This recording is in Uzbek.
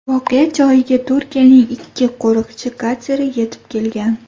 Voqea joyiga Turkiyaning ikki qo‘riqchi kateri yetib kelgan.